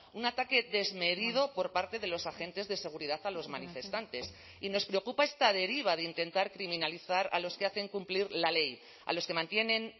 un ataque desmedido por parte de los agentes de seguridad a los manifestantes y nos preocupa esta deriva de intentar criminalizar a los que hacen cumplir la ley a los que mantienen